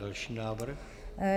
Další návrh.